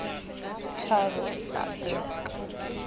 tharo a b le c